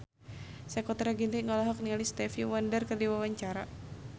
Sakutra Ginting olohok ningali Stevie Wonder keur diwawancara